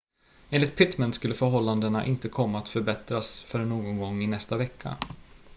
enligt pittman skulle förhållandena inte komma att förbättras förrän någon gång i nästa vecka